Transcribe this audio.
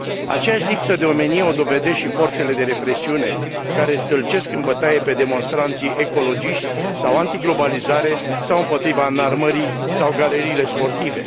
Aceeași lipsă de omenie o dovedesc și forțele de represiune, care îi stâlcesc în bătaie pe demonstranții ecologiști, sau antiglobalizare, sau împotriva înarmării, sau galeriile sportive.